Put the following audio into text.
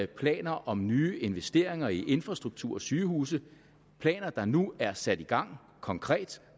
planer om nye investeringer i infrastruktur og sygehuse planer der nu er sat i gang konkret